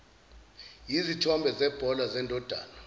yizithombe zebhola zendodana